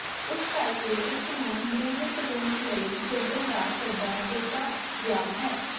ਇਸ ਕਰਕੇ ਇਸ ਨੂੰ ਨਿਯਮਿਤ ਰੂਸ ਲਈ ਖੇਡਣ ਦਾ ਸੱਦਾ ਦਿੱਤਾ ਗਿਆ ਹੈ